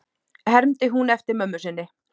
hermdi hún eftir mömmu sinni.